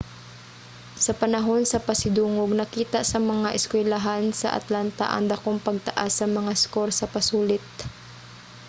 sa panahon sa pasidungog nakita sa mga eskuylahan sa atlanta ang dakong pagtaas sa mga eskor sa pasulit